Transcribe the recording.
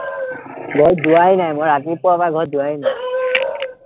ঘৰত যোৱাই নাই, মই ৰাতিপুৱাৰপৰা ঘৰত যোৱাই নাই